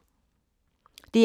DR2